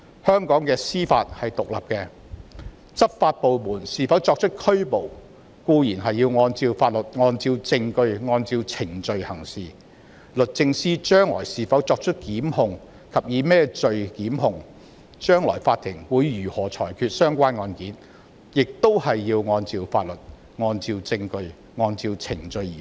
香港的司法是獨立的，執法部門是否作出拘捕固然要按照法律、按照證據、按照程序行事；將來律政司是否及以甚麼罪名檢控，以及法庭會如何裁決相關案件，亦要按照法律、證據、程序而行。